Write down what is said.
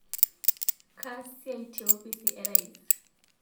Kaas siai te opisi ee rais